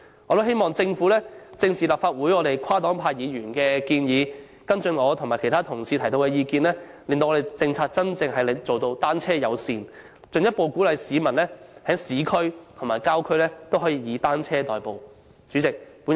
我亦希望政府正視立法會跨黨派議員的建議，跟進我和其他同事提出的意見，推行真正單車友善的政策，進一步鼓勵市民在市區及郊區以單車代步。